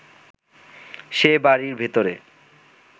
সে বাড়ির ভেতরে